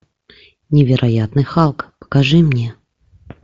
невероятный халк покажи мне